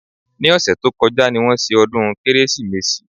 Ní ọ̀sẹ̀ tó kọjá ni wọ́n ṣe ọdún Kérésìmesì